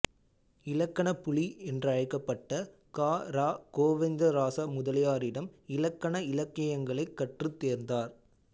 இலக்கணப்புலி என்றழைக்கப்பட்ட கா ர கோவிந்தராச முதலியாரிடம் இலக்கண இலக்கியங்களைக் கற்றுத் தேர்ந்தார்